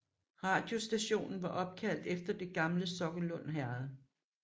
Radiostationen var opkaldt efter det gamle Sokkelund Herred